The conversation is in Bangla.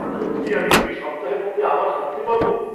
সত্যিই আমি দুই সপ্তাহের মধ্যে আবার হাঁটতে পারব!